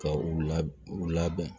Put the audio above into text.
Ka u la u labɛn